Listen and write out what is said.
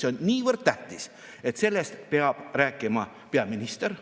See on niivõrd tähtis, et sellest peab rääkima peaminister.